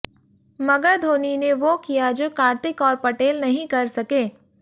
मगर धोनी ने वो किया जो कार्तिक और पटेल नहीं कर सके